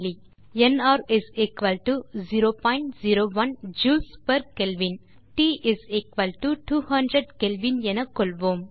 NR 001 joulesகெல்வின் மற்றும் ட் 200க் எனக்கொள்வோம்